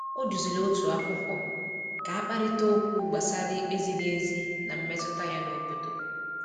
O duziri otu akwụkwọ ka a kparịta okwu gbasara ikpe ziri ezi na mmetụta ya n’obodo. n’obodo.